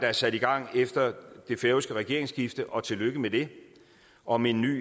er sat i gang efter det færøske regeringsskifte og tillykke med det om en ny